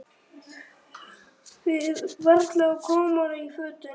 Við varla komnar í fötin.